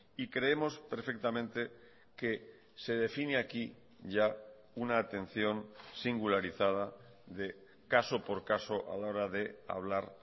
y creemos perfectamente que se define aquí ya una atención singularizada de caso por caso a la hora de hablar